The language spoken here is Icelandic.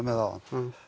áðan